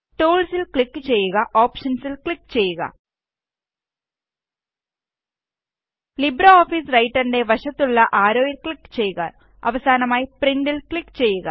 tools ജിടി ല് click ചെയ്യുക ഓപ്ഷന്സ് ല് ക്ലിക് ചെയ്യുക ലിബ്രെഓഫീസ് റൈറ്ററിന്റെ വശത്തുള്ള ആരോയില് ക്ലിക് ചെയ്യുക അവസാനമായി പ്രിന്റ്ല് ക്ലിക് ചെയ്യുക